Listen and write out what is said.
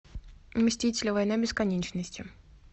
мстители война бесконечности